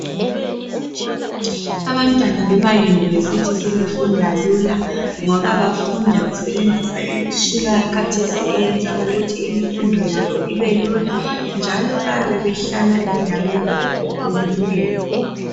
Abantwana bemayunivesithi sebefunda lula ngoba bafunda besebenzisa imitshina yakhathesi besenzela ukuthi imfundo yabo ibelula njalo bayabe behlala endaweni ephucukileyo.